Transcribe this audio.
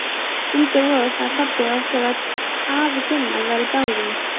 Undir vorið sagði pabbi okkur að afi Gunnar væri dáinn.